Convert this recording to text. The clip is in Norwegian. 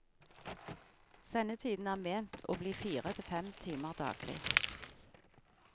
Sendetiden er ment å bli fire til fem timer daglig.